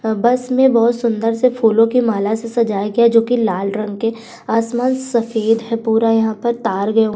अ bus में बोहोत सुंदर से फूलों की माला से सजाया गया जोकि लाल रंग के आसमान सफेद है पूरा यहाँ पर तार गए हुए --